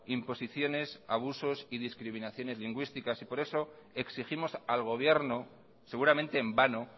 imposiciones abusos y discriminación lingüísticas y por eso exigimos al gobierno seguramente en vano